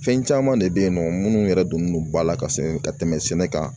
Fɛn caman de bɛ yen nɔ minnu yɛrɛ donnen don ba la ka se ka tɛmɛ sɛnɛ kan